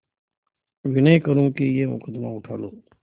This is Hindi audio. विनय करुँ कि यह मुकदमा उठा लो